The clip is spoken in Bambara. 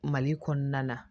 Mali kɔnɔna na